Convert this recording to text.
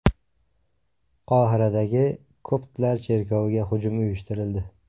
Qohiradagi koptlar cherkoviga hujum uyushtirildi.